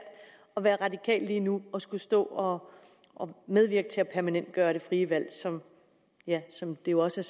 at være radikal lige nu og skulle stå og medvirke til at permanentgøre det frie valg som som det også